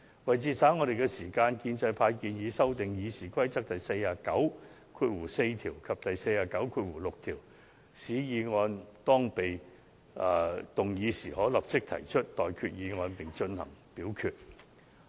為節省議會的時間，建制派建議修訂《議事規則》第494條及第496條，使議案一經動議，主席可立即就有關議案提出待決議題並進行表決。